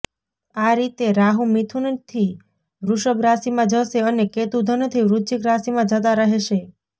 આ રીતે રાહુ મિથુનથી વૃષભ રાશિમાં જશે અને કેતુ ધનથી વૃશ્ચિક રાશિમાં જતા રહેશે